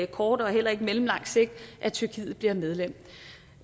kort eller mellemlang sigt at tyrkiet bliver medlem